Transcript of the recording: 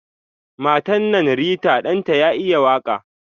Matan nan Rita Dan ta ya iya waka.